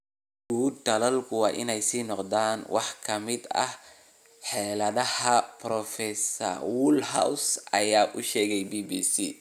Sugidda tallaalku waa inaysan noqon wax ka mid ah xeeladaha, Prof Woolhouse ayaa u sheegay BBC.